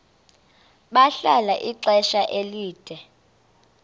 bahlala ixesha elide